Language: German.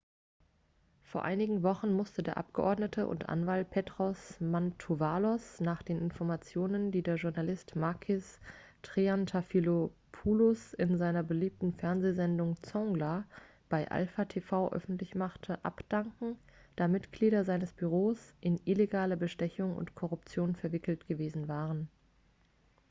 vor einigen wochen musste der abgeordnete und anwalt petros mantouvalos nach den informationen die der journalist makis triantafylopoulos in seiner beliebten fernsehsendung zoungla bei alpha tv öffentlich machte abdanken da mitglieder seines büros in illegale bestechung und korruption verwickelt gewesen waren